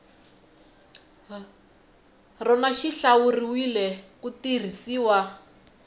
rona xi hlawuriwile ku tirhisiwa